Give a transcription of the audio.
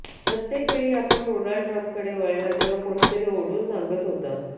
प्रत्येक वेळी आपण डोनाल्ड ट्रम्पकडे वळला तेव्हा कोणीतरी ओरडून सांगत होता